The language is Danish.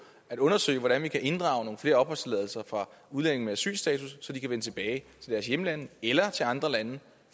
at undersøge hvordan vi kan inddrage nogle flere opholdstilladelser fra udlændinge med asylstatus så de kan vende tilbage til deres hjemlande eller til andre lande